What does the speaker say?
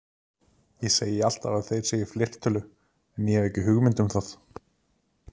Ég segi alltaf að þeir séu í fleirtölu en ég hef ekki hugmynd um það.